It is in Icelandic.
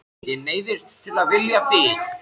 Ég neyddist til að vilja þig.